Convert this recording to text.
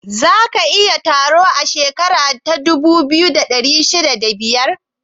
Za a yi taro a shekara ta dubu biyu da ashirin da biyar?